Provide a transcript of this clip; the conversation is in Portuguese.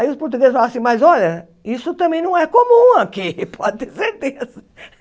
Aí os portugueses falaram assim, mas olha, isso também não é comum aqui, pode ter certeza.